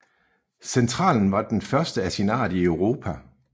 Centralen var den første i sin art i Europa